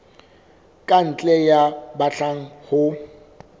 ka ntle ya batlang ho